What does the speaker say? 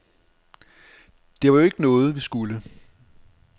Det var jo ikke noget, vi skulle.